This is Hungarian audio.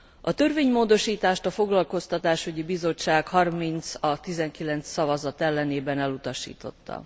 A törvénymódosítást a Foglalkoztatásügyi Bizottság 30 a 19 szavazat ellenében elutasította.